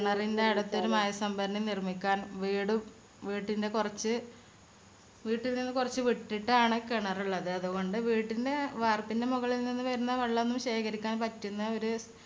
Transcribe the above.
കിണറിന്റെ അടുത്തൊരു മഴ സംഭരണി നിർമിക്കാൻ വീടും വീട്ടിന്റെ കൊർച് വീട്ടിൽ നിന്നും കൊറച്ചു വിട്ടിട്ടാണ് കിണറുള്ളത്. അതുകൊണ്ട് വീട്ടിന്റെ വാർപ്പിന്റെ മുകളി നിന്നും വരുന്ന വെള്ളം ഒന്നും ശേഖരിക്കാൻ പറ്റുന്ന ഒരു